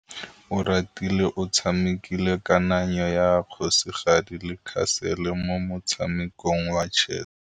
Oratile o tshamekile kananyô ya kgosigadi le khasêlê mo motshamekong wa chess.